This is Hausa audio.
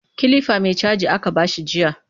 Kilifa mai caji aka ba shi jiya